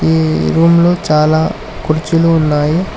Room లో చాలా కుర్చీలు ఉన్నాయి.